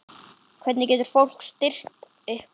Hvernig getur fólk styrkt ykkur?